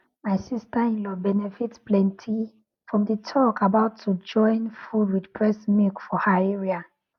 my sisterinlaw benefit plenty from the talk about how to join food with breast milk for her area